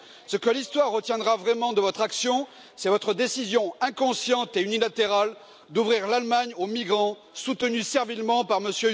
Ce que l'histoire retiendra vraiment de votre action, c'est votre décision, inconsciente et unilatérale d'ouvrir l'Allemagne aux migrants, décision soutenue servilement par M.